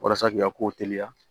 Walasa k'i ka kow teliya